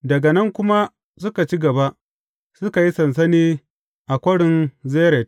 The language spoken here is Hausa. Daga nan kuma suka ci gaba, suka yi sansani a Kwarin Zered.